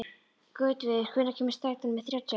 Gautviður, hvenær kemur strætó númer þrjátíu og eitt?